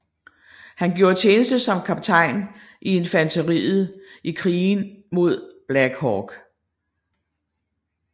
Han gjorde tjeneste som kaptajn i infanteriet i Krigen mod Black Hawk